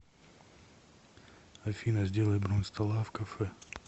афина сделай бронь стола в кафе